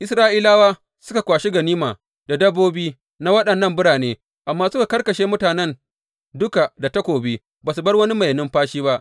Isra’ilawa suka kwashi ganima da dabbobi na waɗannan birane, amma suka karkashe mutanen duka da takobi, ba su bar wani mai numfashi ba.